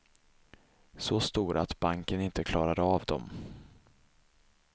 Så stora att banken inte klarade av dem.